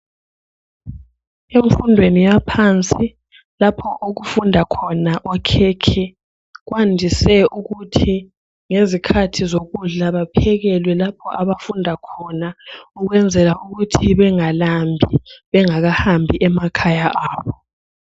emfundweniya phansi lapho okufunda khona okhekhe kwandiswe ukuthi ngezikhathi zokudla bayaphekelwe lapha abafunda khona ukwenzela ukuthibengalambi bengaka hambi emakhaya abo.